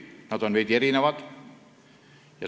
Nad on veidi erinevad.